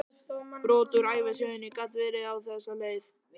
Brot úr ævisögunni gat verið á þessa leið